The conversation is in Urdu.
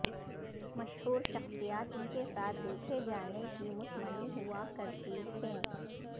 مشہور شخصیات ان کے ساتھ دیکھے جانے کی متمنی ہوا کرتی تھیں